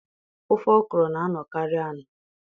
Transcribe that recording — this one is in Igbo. Ofe okro na-anọkarị anọ